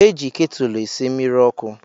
E ji ketulu esi mmiri ọkụ